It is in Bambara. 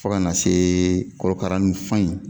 Fo kana see korokara n fan in